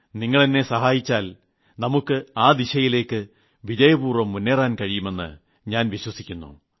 നിങ്ങൾ എന്നെ സഹായിച്ചാൽ നമുക്ക് ആ ദിശയിലേക്ക് വിജയപൂർവ്വം മുന്നേറാൻ കഴിയുമെന്ന് ഞാൻ വിശ്വസിക്കുന്നു